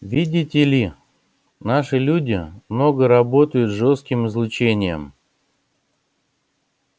видите ли наши люди много работают с жёстким излучением